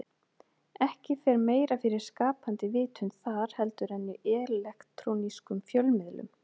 Ekki fer meira fyrir skapandi vitund þar heldur en í elektrónískum fjölmiðlum.